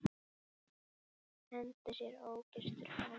Hendir sér ógyrtur fram í.